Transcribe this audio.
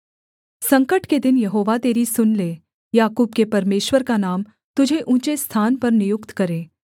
संकट के दिन यहोवा तेरी सुन ले याकूब के परमेश्वर का नाम तुझे ऊँचे स्थान पर नियुक्त करे